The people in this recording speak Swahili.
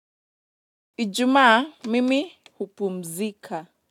Ijumaa mimi hupumzika.